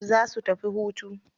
Za su tafi hutu.